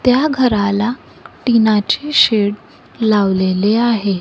त्या घराला टिनाचे शेड लावलेले आहे.